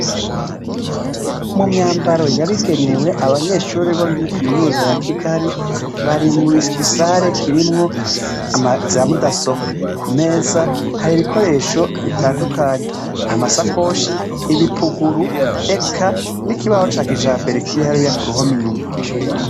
Mumyambaro yabigenewe abanyeshure bo muri kaminuza ya kigali bari mugisare kirimwo amaziramudasobwa kumeza hari ibikoresho bitandukanye amasakoshi ibipuguru eka nikibaho ca kijambere kiri hariya kuruhome inyuma